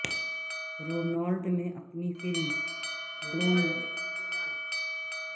Ronald نے اپنی فلم ڈوننوان کے دماغ کے سیٹ پر نینسی سے ملاقات کی